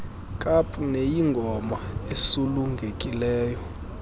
kaap neyingoma esulungekileyo